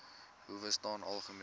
howe staan algemeen